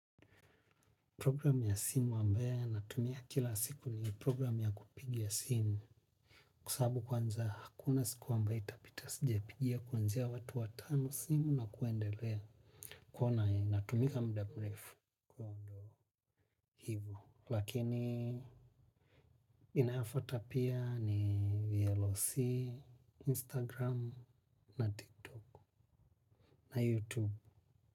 Program ya simu ambayo natumia kila siku ni program ya kupigia simu. Kusabu kwanza hakuna siku ambaya itapita sijepigia kwanza watu watano simu na kuendelea. Kuwa na natumika mda mrefu kwa ndo hivu. Lakini inafata pia ni VLOC, Instagram, na TikTok, na YouTube.